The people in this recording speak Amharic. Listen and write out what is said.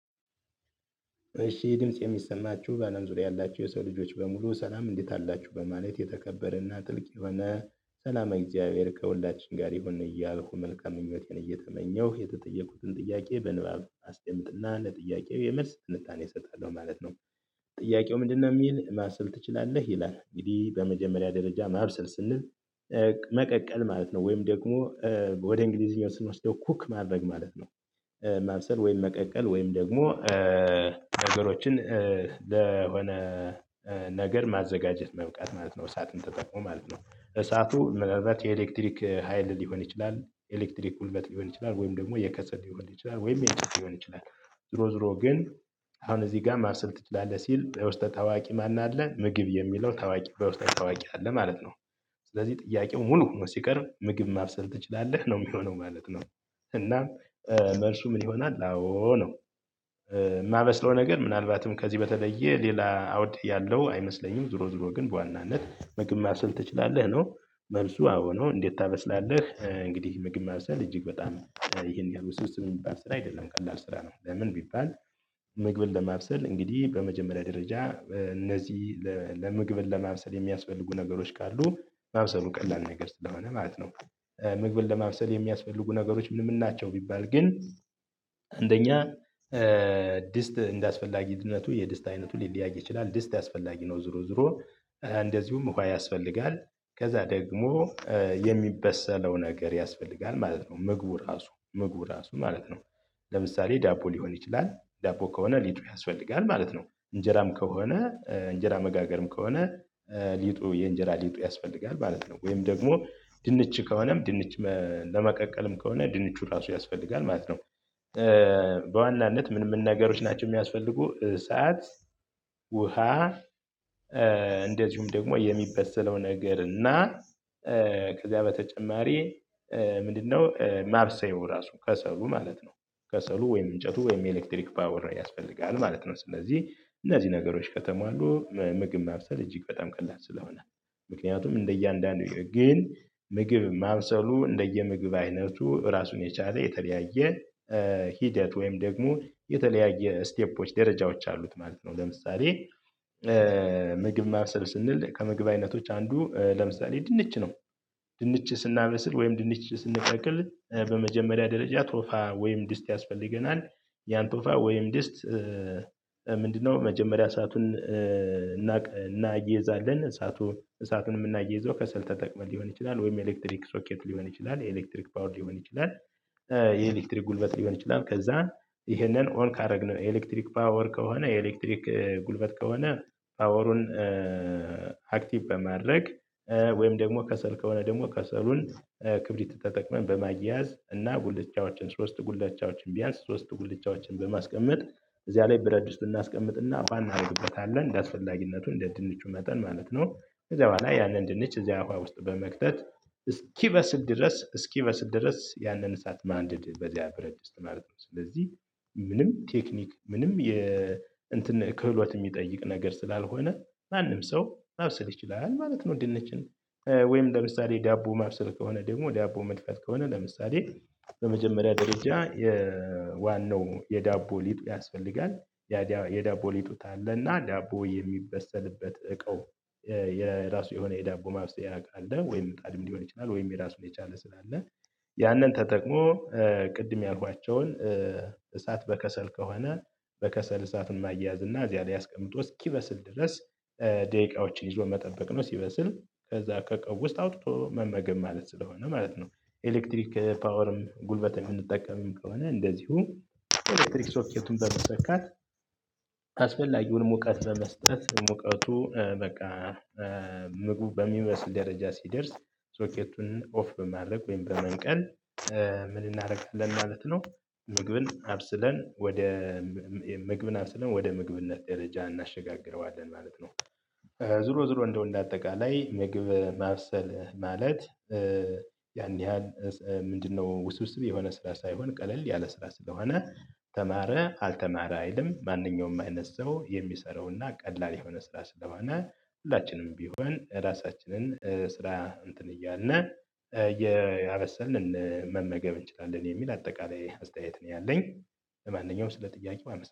እሺ ድምጽ የሚሰማችሁ በአለም ዙሪያ ያላችሁ የሰው ልጆች በሙሉ ሰላም እንዴት አላችሁ በማለት የተከበረና ጥልቅ የሆነ ሰላማዊ እግዚአብሔር ከሁላችን ጋር ይሁን እያልኩ መልካም ምኞቴን እየተመኘሁ የተጠየቁትን ጥያቄ በንባብ አስቀምጥና ለጥያቄየ መልስ ትንታኔ እሰጣለሁ ማለት ነው። ጥያቄው ምንድነው የሚል ማብሰል ትችላለህ? ይላል። እንግዲህ በመጀመሪያ ደረጃ ማብሰል ስንል መቀቀል ማለት ነው። ወይም ደግሞ ወደ እንግሊዝኛ ስንወስደው ኩክ ማድረግ ማለት ነው። ማብሰል ወይም መቀቀል ወይም ደግሞ ነገሮችን ለሆነ ነገር ማዘጋጀት መብቃት ማለት ነው። እሳትን ተጠቅሞ ማለት ነው። እሳቱ ምናልባት የኤሌክትሪክ ሀይል ሊሆን ይችላል። ኤሌክትሪክ ጉልበት ሊሆን ይችላል ወይም ደግሞ የከሰል ሊሆን ይችላል ወይም የኤሌክትሪክ ሊሆን ይችላል። ዞሮ ዞሮ ግን አሁን እዚህ ጋር ማብሰል ትችላለህ? ሲል በውስጠ ታዋቂ ማን አለ? ምግብ የሚለው ታዋቂ በውስጠ ታዋቂ አለ ማለት ነው። ስለዚህ ጥያቄው ሙሉ ሆኖ ሲቀርብ ምግብ ማብሰል ትችላለህ ነው የሚሆነው ማለት ነው? እናም መልሱ ምን ይሆናል አዎ ነው። የማበስለው ነገር ምናልባትም ከዚህ በተለየ ሌላ አውድ ያለው አይመስለኝም። ዞሮ ዞሮ ግን በዋናነት ምግብ ማብሰል ትችላለህ ነው። መልሱ አዎ ነው። እንዴት ታበስላለህ? እንግዲህ ምግብ ማብሰል እጅግ በጣም ይሄን ያህል ውስብስብ የሚባል ስራ አይደለም። ቀላል ስራ ነው። ለምን ቢባል ምግብን ለማብሰል እንግዲህ በመጀመሪያ ደረጃ እነዚህ ለምግብን ለማብሰል የሚያስፈልጉ ነገሮች ካሉ ማብሰሉ ቀላል ነገር ስለሆነ ማለት ነው። ምግብን ለማብሰል የሚያስፈልጉ ነገሮች ምን ምን ናቸው? ቢባል ግን አንደኛ ድስት እንደ አስፈላጊነቱ የድስት አይነቱ ሊለያይ ይችላል። ድስት አስፈላጊ ነው ዞሮ ዞሮ እንደዚሁም ውሃ ያስፈልጋል። ከዛ ደግሞ የሚበሰለው ነገር ያስፈልጋል ማለት ነው ምግቡ ራሱ ምግቡ ራሱ ማለት ነው። ለምሳሌ ዳቦ ሊሆን ይችላል። ዳቦ ከሆነ ሊጡ ያስፈልጋል ማለት ነው። እንጀራም ከሆነ እንጀራ መጋገርም ከሆነ ሊጡ የእንጀራ ሊጡ ያስፈልጋል ማለት ነው። ወይም ደግሞ ድንች ከሆነም ድንች ለመቀቀልም ከሆነ ድንቹ ራሱ ያስፈልጋል ማለት ነው። በዋናነት ምንም ነገሮች ናቸው የሚያስፈልጉ፥ እሳት፣ ውሃ፣ እንደዚሁም ደግሞ የሚበሰለው ነገር እና ከዚያ በተጨማሪ ምንድነው ማብሰያው ራሱ ከሰሉ ማለት ነው። ከሰሉ ወይም እንጨቱ ወይም ኤሌክትሪክ ፓወር ያስፈልጋል ማለት ነው። ስለዚህ እነዚህ ነገሮች ከተሟሉ ምግብ ማብሰል እጅግ በጣም ቀላል ስለሆነ። ምክንያቱም እንደየአንዳንዱ ግን ምግብ ማብሰሉ እንደየምግብ አይነቱ ራሱን የቻለ የተለያየ ሂደት ወይም ደግሞ የተለያየ ስቴፖች ደረጃዎች አሉት ማለት ነው። ለምሳሌ ምግብ ማብሰል ስንል ከመግብ አይነቶች አንዱ ለምሳሌ ድንች ነው። ድንች ስናበስል ወይም ድንች ስንቀቅል ደረጃ ቶፋ ወይም ድስት ያስፈልገናል። ያን ቶፋ ወይም ድስት ምንድነው መጀመሪያ እሳቱን እናያይዛለን እሳቱን እሳቱን የምናያይዘው ከሰል ተጠቅመን ሊሆን ይችላል ወይም ኤሌክትሪክ ሶኬት ሊሆን ይችላል የኤሌክትሪክ ፓወር ሊሆን ይችላል የኤሌክትሪክ ጉልበት ሊሆን ይችላል። ከዛ ይሄንን ኦን ካደረግነው የኤሌክትሪክ ፓወር ከሆነ የኤሌክትሪክ ጉልበት ከሆነ ፓወሩን አክቲቭ በማድረግ ወይም ደግሞ ከሰል ከሆነ ደግሞ ከሰሉን ክብሪት ተጠቅመን በማያያዝ እና ጉልቻዎችን ሶስት ጉልቻዎችን ቢያንስ ሶስት ጉልቻዎችን በማስቀመጥ እዚያ ላይ ብረት ድስት እናስቀምጥና ውሃ እናደርግበታለን እንደአስፈላጊነቱ እንደ ድንቹ መጠን ማለት ነው። ከዛ በኋላ ያንን ድንች እዚያ ውሃ ውስጥ በመክተት እስኪበስል ድረስ እስኪበስል ድረስ ያንን እሳት ማንደድ በዚያ ብረት ድስት ማለት ነው። ስለዚህ ምንም ቴክኒክ ምንም የእንትን ክህሎት የሚጠይቅ ነገር ስላልሆነ ማንም ሰው ማብሰል ይችላል ማለት ነው ድንችን። ለምሳሌ ዳቦ ማብሰል ከሆነ ደግሞ ዳቦ መድፋት ከሆነ ለምሳሌ በመጀመሪያ ደረጃ የዋናው የዳቦ ሊጥ ያስፈልጋል። ያ የዳቦ ሊጡ ካለ እና ዳቦ የሚበሰልበት እቃው የራሱ የሆነ የዳቦ ማብሰያ እቃ አለ ወይም ጣድም ሊሆን ይችላል ወይም የራሱን የቻለ ስላለ ያንን ተጠቅሞ ቅድም ያልኳቸውን እሳት በከሰል ከሆነ በከሰል እሳት ማያያዝ እና እዚያ ላይ አስቀምጦ እስኪበስል ድረስ ደቂቃዎችን ይዞ መጠበቅ ነው። ሲበስል ከዛ ከእቃው ውስጥ አውጥቶ መመገብ ማለት ስለሆነ ማለት ነው። ኤሌክትሪክ ፓወርም ጉልበትም የምንጠቀመውም ከሆነ እንደዚሁ ኤሌክትሪክ ሶኬቱን በመሰካት አስፈላጊውንም ሙቀት በመስጠት ሙቀቱ በቃ ምግብ በሚበስል ደረጃ ሲደርስ ሶኬቱን ኦፍ በማለቅ ወይም በመንቀል ምን እናደርጋለን ማለት ነው ምግብን አብስለን ወደ ምግብን አብስለን ወደ ምግብነት ደረጃ እናሸጋግረዋለን ማለት ነው። ዙሮ ዙሮ እንደው እንደ አጠቃላይ ምግብ ማብሰል ማለት ያን ያህል ምንድነው ውስውስብ የሆነ ስራ ሳይሆን ቀለል ያለ ስራ ስለሆነ ተማረ አልተማረ አይልም ማንኛውም አይነት ሰው የሚሰራውና ቀላል የሆነ ስራ ስለሆነ ሁላችንም ቢሆን ራሳችንን ስራ እንትን እያልን እያበሰልን መመገብ እንችላለን የሚል አጠቃላይ አስተያየት ነው ያለኝ ለማንኛውም ስለ ጥያቄው አመሰግናለሁ።